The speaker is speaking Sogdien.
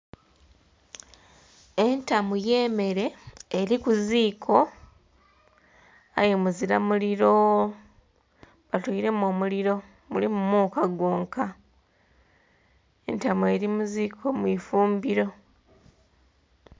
Entamu y'emere eri kuziiko, aye muzira muliro. Batoire mu omuliro, mulimu muuka gwonka. Entamu eli muziiko mwifumbiro.